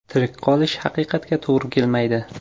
Tirik qolish haqiqatga to‘g‘ri kelmaydi”.